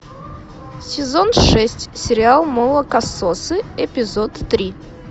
сезон шесть сериал молокососы эпизод три